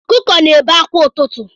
ọkụkụ na-ebe akwa ụtụtụ